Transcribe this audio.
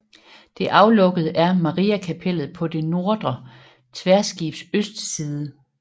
Det aflukkede er Mariakapellet på det nordre tværskibs østside